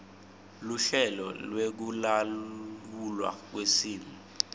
luhlelo lwekulawulwa kwesimo